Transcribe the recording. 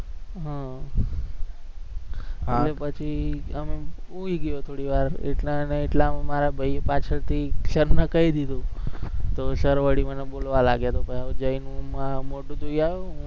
હમ એટલે પછી એમ હુંય ગયો થોડી વાર એટલા ને એટલામાં મારા ભાઈ પાછળથી સાહેબને કહી દીધું, તો sir વળી મને બોલવા લાગ્યા તો કે હું જઈને મોઢું ધોયાવો